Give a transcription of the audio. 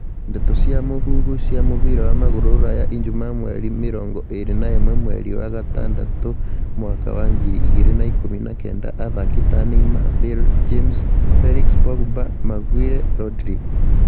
Ndeto cia mũhuhu cia mũbira wa magũrũ Rũraya ijumaa mweri mĩrongo ĩrĩ na ĩmwe mweri wa gatandatũ mwaka wa ngiri igĩrĩ ikũmi na kenda athaki ta Neymar, Bale, James, Felix, Pogba, Maguire, Rodri